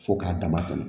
Fo k'a dama tɛmɛ